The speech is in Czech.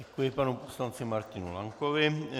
Děkuji panu poslanci Martinu Lankovi.